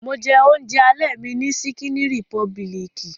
Mo jẹ oúnjẹ alẹ́ mi ní ṣíkíní rìpọbilìkì.